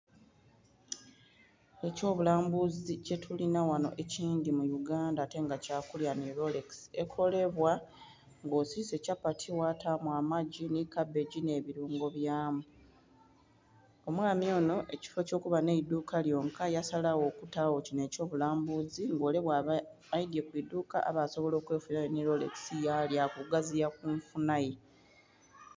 ekyobulambuzi kyetulinha ghano mu Uganda ate nga kyakulya nhi rolekisi ekolebwa nga osise kyapati ghataamu amagi nhi kabagia ne bilungo byamu. Omuwami onho mukifo kyo kuba nhe idhuuka lyonka yasalagho okutaagho kinho eky'obulambuzi, nga ole bwaba aidhye ku iduuka aba asobola nh'okwefunilayo nhi rolekisi ya lyaku okugaziiya ku nfunha ye.